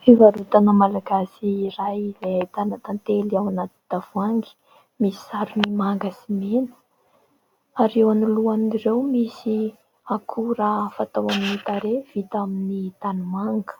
Fivarotana malagasy iray izay ahitana tantely ao anaty tavoahangy misy sarony manga sy mena ary eo anoloan'ireo misy akora fatao amin'ny tarehy vita amin'ny tanimanga.